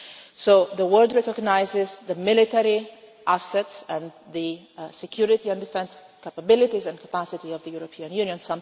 So the world recognises the military assets and the security and defence capabilities and capacity of the European Union.